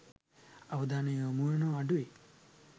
අවධානය යොමුවනවා අඩුයි.